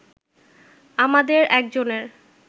আমাদের একজনের